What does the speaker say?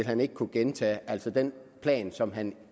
han ikke kunne gentage altså den plan som han